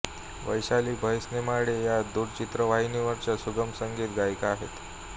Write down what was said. वैशाली भैसनेमाडे या दूरचित्रवाणीवरच्या सुगम संगीत गायिका आहेत